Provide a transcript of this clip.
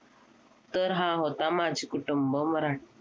तर हा होता माझे कुटुंब मराठी